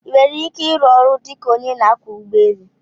I nwere ike ịrụ ọrụ dị ka onye na akwo ụgbọ élú?